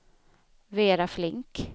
Vera Flink